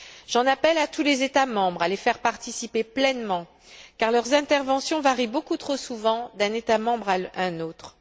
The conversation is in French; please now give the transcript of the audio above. J'en appelle à tous les États membres pour qu'ils les fassent participer pleinement car leurs interventions varient beaucoup trop souvent d'un État membre à l'autre.